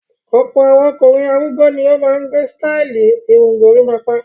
Ọ̀pọ̀ àwọn ọkùnrin arúgbó ni ó máa ń gẹ sítáálì irun gorímápá.